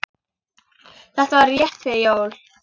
Þetta var rétt fyrir jól.